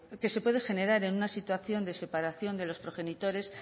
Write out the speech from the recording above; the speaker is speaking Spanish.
que se puede generar en una situación de separación de los progenitores